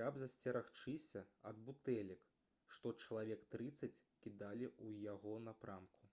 каб засцерагчыся ад бутэлек што чалавек трыццаць кідалі ў яго напрамку